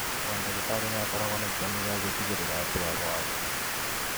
O ndagĩtarĩ nĩ akoragwo na itemi rĩa gũtigĩrĩra atĩ arwaru